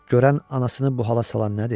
Görən anasını bu hala salan nədir?